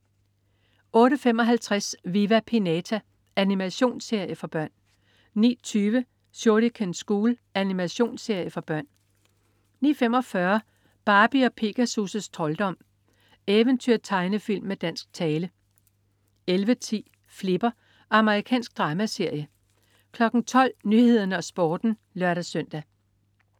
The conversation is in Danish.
08.55 Viva Pinata. Animationsserie for børn 09.20 Shuriken School. Animationsserie for børn 09.45 Barbie & Pegasus' trolddom. Eventyr-tegnefilm med dansk tale 11.10 Flipper. Amerikansk dramaserie 12.00 Nyhederne og Sporten (lør-søn)